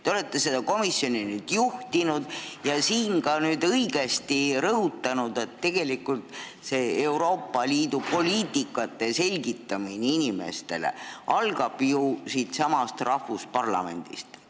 Te olete seda komisjoni juhtinud ja siin ka õigesti rõhutanud, et tegelikult Euroopa Liidu poliitikate selgitamine inimestele peab algama siitsamast parlamendist.